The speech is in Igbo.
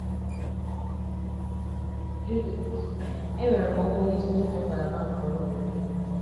Judith: Enwere m ọkwa onye isi n’otu ngalaba nke ọrụ bekee.